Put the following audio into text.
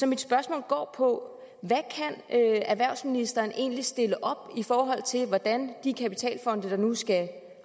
mit spørgsmål går på hvad erhvervsministeren egentlig kan stille op i forhold til hvordan de kapitalfonde der nu skal